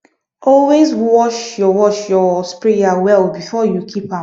always wash your wash your sprayer well before you keep am